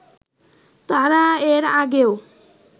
তারা এর আগেও